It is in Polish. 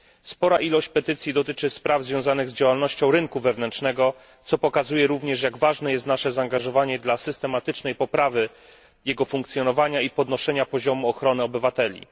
Spora ilość petycji dotyczy spraw związanych z działalnością rynku wewnętrznego, co pokazuje również, jak ważne jest nasze zaangażowanie dla systematycznej poprawy jego funkcjonowania i podnoszenia poziomu ochrony obywateli.